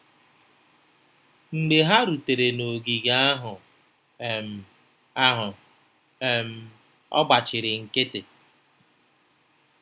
Mgbe ha rutere n’ogige ahụ, um ahụ, um ọ gbachiri nkịtị.